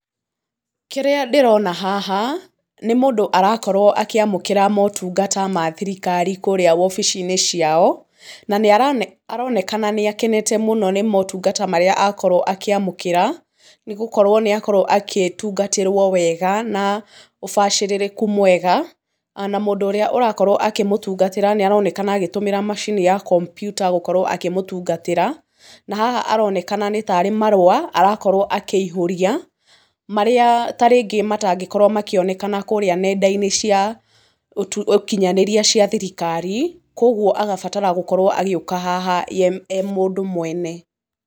Kĩrĩa ndĩrona haha, nĩ mundũ arakorwo akĩamũkĩra motungata ma thirikari kũrĩa wobici-inĩ ciao, na nĩ aronekana nĩ akenete mũno nĩ motungata marĩa akorwo akĩamũkĩra, nĩ gũkorwo nĩ akorwo akĩtungatĩrwo wega na ũbacĩrĩrĩku mwega, na mũndũ ũrĩa ũrakorwo akĩmũtungatĩra nĩ aronekana agĩtũmĩra macini ya kompiuta gũkorwo akĩmũtungatĩra, na haha aronekana nĩ taarĩ marũa arakorwo akĩihũrĩa, marĩa tarĩngĩ natangĩkorwo makĩonekana kũrĩa nenda-inĩ cia ũkinyanĩria cia thirikari, koguo agabatara gũkorwo agĩũka haha ye e mũndũ mwene.